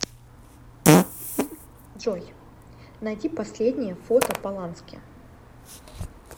джой наиди последнее фото полански